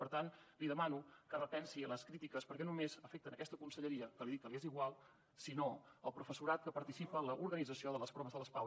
per tant li demano que repensi les crítiques perquè no només afecten aquesta conselleria que li dic que m’és igual sinó el professorat que participa en l’organització les pau